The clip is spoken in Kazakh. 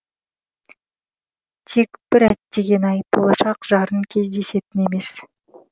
тек бір әттеген ай болашақ жарын кездесетін емес